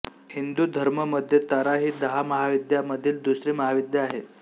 हिंदू धर्म मध्ये तारा ही दहा महाविद्या मधील दुसरी महाविद्या आहे